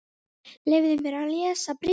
Leyfðu mér að lesa bréfið